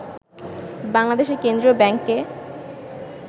বাংলাদেশের কেন্দ্রীয় ব্যাংকে